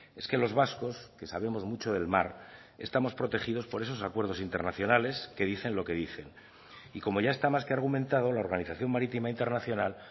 es que los vascos que sabemos mucho del mar estamos protegidos por esos acuerdos internacionales que dicen lo que dicen y como ya está más que argumentado la organización marítima internacional